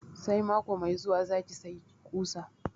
Sai mako mai zuwa za ki sayi kusa?